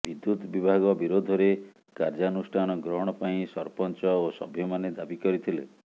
ବିଦ୍ୟୁତ୍ ବିଭାଗ ବିରୋଧରେ କାର୍ଯ୍ୟାନୁଷ୍ଠାନ ଗ୍ରହଣ ପାଇଁ ସରପଞ୍ଚ ଓ ସଭ୍ୟମାନେ ଦାବି କରିଥିଲେ